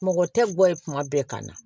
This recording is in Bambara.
Mɔgɔ tɛ gɔ ye kuma bɛɛ ka na